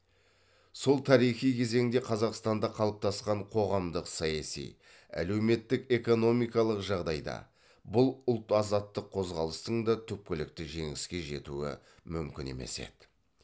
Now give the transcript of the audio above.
сол тарихи кезеңде қазақстанда қалыптасқан қоғамдық саяси әлеуметтік экономиқалық жағдайда бұл ұлт азаттық қозғалыстың да түпкілікті жеңіске жетуі мүмкін емес еді